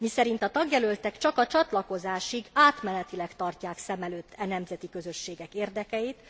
Miszerint a tagjelöltek csak a csatlakozásig, átmenetileg tartják szem előtt e nemzeti közösségek érdekeit.